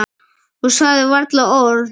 Og sagði varla orð.